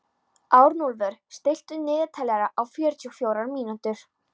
Arnúlfur, stilltu niðurteljara á fjörutíu og fjórar mínútur.